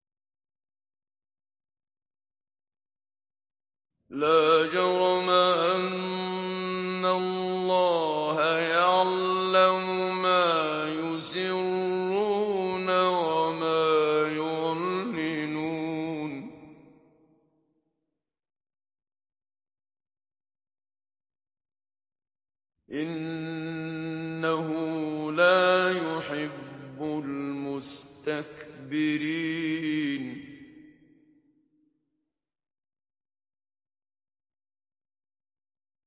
لَا جَرَمَ أَنَّ اللَّهَ يَعْلَمُ مَا يُسِرُّونَ وَمَا يُعْلِنُونَ ۚ إِنَّهُ لَا يُحِبُّ الْمُسْتَكْبِرِينَ